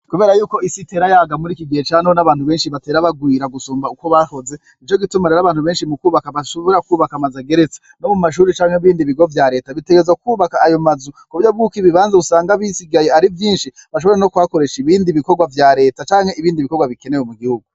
Kubera yuko isi itera yaga muriki gihe ca none, abantu benshi batera bagwira gusumba uko bahoze , nico gituma abantu benshi mukwubaka bashobora kwubaka amazu ageretse, nko mumashure canke mubindi bigo vya Leta bitegerezwa kwubaka ayo mazu kuburyo bwuko ibibanza usanga bisigaye ari vyinshi bashobore no kuhakoresha ibindi bikorwa vya Leta canke ibindi bikorwa bikenewe mugihugu.